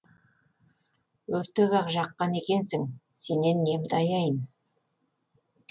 өртеп ақ жаққан екенсің сенен немді аяйын